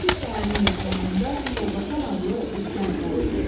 Tiflis şəhərinin yaxınlığında Kolbasan adlı bir kənd var idi.